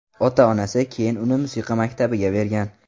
Ota-onasi keyin uni musiqa maktabiga bergan.